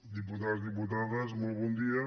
diputats diputades molt bon dia